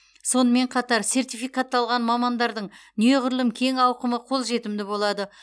сонымен қатар сертификатталған мамандардың неғұрлым кең ауқымы қолжетімді болады